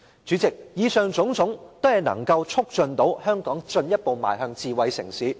主席，以上種種均能推動香港進一步邁向智慧城市。